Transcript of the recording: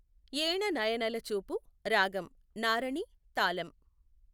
ఏణనయనలచూపు రాగం నారణి తాళం